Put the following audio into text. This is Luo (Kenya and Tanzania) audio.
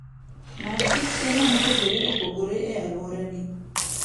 Many kit chiemo mopogore opogore e alworani.